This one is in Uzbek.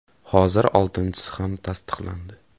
Hozir oltinchisi ham tasdiqlandi.